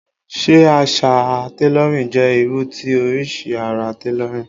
Ṣé àṣà tailorin jẹ́ irú ti oríṣi ara tailorin?